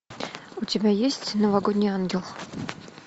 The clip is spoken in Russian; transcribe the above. у тебя есть новогодний ангел